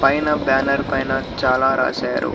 పైన బ్యానర్ పైన చాలా రాశారు.